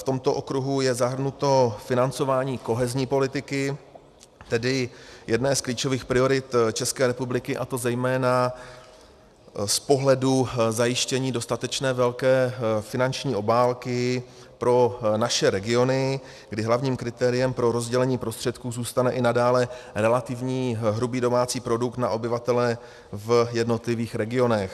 V tomto okruhu je zahrnuto financování kohezní politiky, tedy jedné z klíčových priorit České republiky, a to zejména z pohledu zajištění dostatečně velké finanční obálky pro naše regiony, kdy hlavním kritériem pro rozdělení prostředků zůstane i nadále relativní hrubý domácí produkt na obyvatele v jednotlivých regionech.